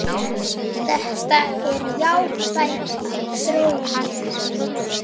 Þetta er jákvæð þróun.